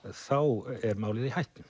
þá er málið í hættu